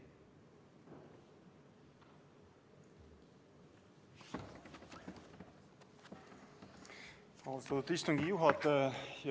Austatud istungi juhataja!